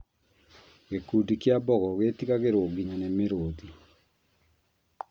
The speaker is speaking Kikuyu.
Gĩkundi kĩa mbogo gĩtigagĩrwo nginya nĩ mũrũthi